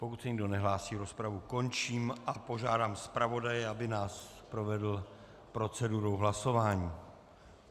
Pokud se nikdo nehlásí, rozpravu končím a požádám zpravodaje, aby nás provedl procedurou hlasování.